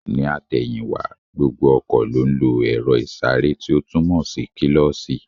Ní àtẹ̀yìn wá, gbogbo ọkọ̀ ló ń lo èro ìsáré tí ó túmò kílósī